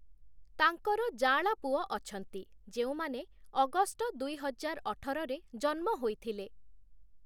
ତାଙ୍କର ଯାଆଁଳା ପୁଅ ଅଛନ୍ତି ଯେଉଁମାନେ ଅଗଷ୍ଟ ଦୁଇହଜାର ଅଠରରେ ଜନ୍ମ ହୋଇଥିଲେ ।